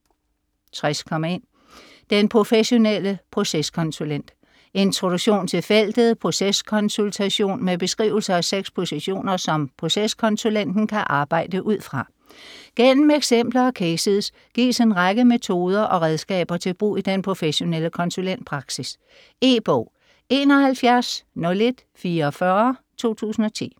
60.1 Den professionelle proceskonsulent Introduktion til feltet proceskonsultation med beskrivelser af seks positioner, som proceskonsulenten kan arbejde ud fra. Gennem eksempler og cases gives en række metoder og redskaber til brug i den professionelle konsulentpraksis. E-bog 710144 2010.